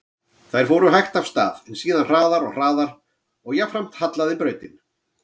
Þær fóru hægt af stað, en síðan hraðar og hraðar og jafnframt hallaði brautin.